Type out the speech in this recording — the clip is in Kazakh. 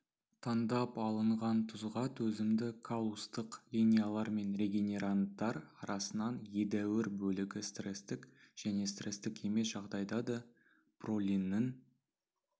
таңдап алынған тұзға төзімді каллустық линиялар мен регенеранттар арасынан едәуір бөлігі стрестік және стрестік емес жағдайда да пролиннің